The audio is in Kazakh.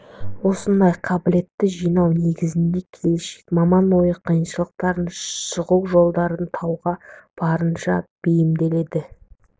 осындай қабілетті жинау негізінде келешек маман ойы қиыншылықтардан шығу жолдарын тауға барынша бейімделеді